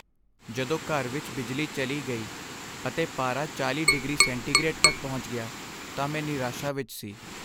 ਜਦੋਂ ਘਰ ਵਿੱਚ ਬਿਜਲੀ ਚਲੀ ਗਈ ਅਤੇ ਪਾਰਾ 40 ਡਿਗਰੀ ਸੈਂਟੀਗਰੇਡ ਤੱਕ ਪਹੁੰਚ ਗਿਆ ਤਾਂ ਮੈਂ ਨਿਰਾਸ਼ਾ ਵਿੱਚ ਸੀ।